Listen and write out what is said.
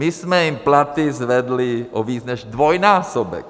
My jsme jim platy zvedli o víc než dvojnásobek.